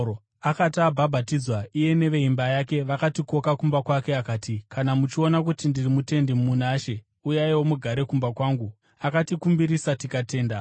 Akati abhabhatidzwa iye neveimba yake, vakatikoka kumba kwake akati, “Kana muchiona kuti ndiri mutendi muna She, uyaiwo mugare kumba kwangu.” Akatikumbirisa tikatenda.